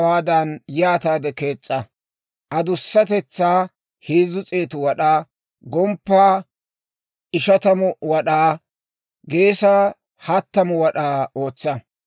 Markkabiyaa hawaadan yaataade kees's'a; adussatetsaa heezzu s'eetu wad'aa, gomppaa ishatamu wad'aa, geesaa hattamu wad'aa ootsa;